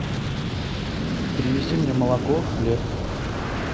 привези мне молоко хлеб